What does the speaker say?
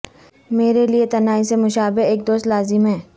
میرے لئے تنہائی سے مشابہہ ایک دوست لازم ہے